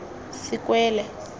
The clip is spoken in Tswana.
sekwele